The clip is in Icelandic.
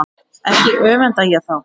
Ekki öfunda ég þá